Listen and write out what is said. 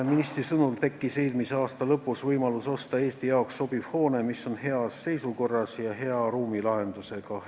Ministri sõnul tekkis eelmise aasta lõpus võimalus osta Eesti jaoks sobiv hoone, mis on heas seisukorras ja hea ruumilahendusega.